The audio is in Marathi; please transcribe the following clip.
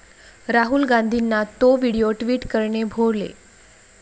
राहुल गांधींना 'तो' व्हिडिओ टि्वट करणे भोवले